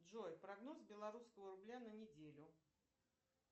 джой прогноз белорусского рубля на неделю